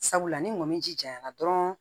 Sabula ni mɔni ji janyana dɔrɔn